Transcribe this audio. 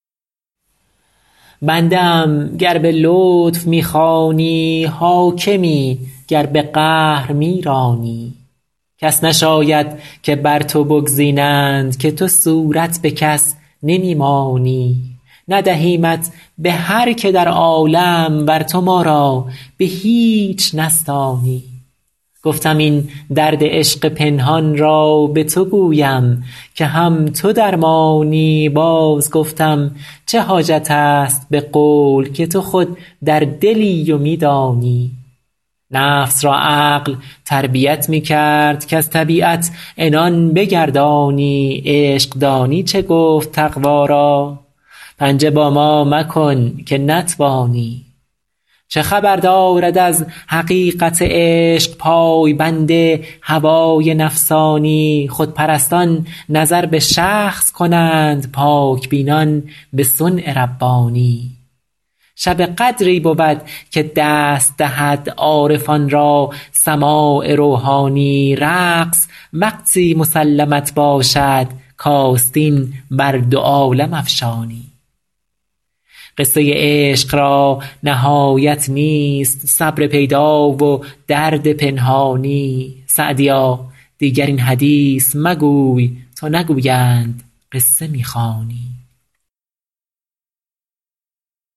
بنده ام گر به لطف می خوانی حاکمی گر به قهر می رانی کس نشاید که بر تو بگزینند که تو صورت به کس نمی مانی ندهیمت به هر که در عالم ور تو ما را به هیچ نستانی گفتم این درد عشق پنهان را به تو گویم که هم تو درمانی باز گفتم چه حاجت است به قول که تو خود در دلی و می دانی نفس را عقل تربیت می کرد کز طبیعت عنان بگردانی عشق دانی چه گفت تقوا را پنجه با ما مکن که نتوانی چه خبر دارد از حقیقت عشق پای بند هوای نفسانی خودپرستان نظر به شخص کنند پاک بینان به صنع ربانی شب قدری بود که دست دهد عارفان را سماع روحانی رقص وقتی مسلمت باشد کآستین بر دو عالم افشانی قصه عشق را نهایت نیست صبر پیدا و درد پنهانی سعدیا دیگر این حدیث مگوی تا نگویند قصه می خوانی